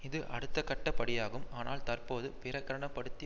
இது அடுத்தக்கட்ட படியாகும் ஆனால் தற்போது பிரகடன படுத்தி